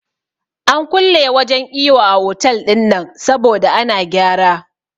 An kulle wajen iyo a otal ɗinnan saboda ana gyara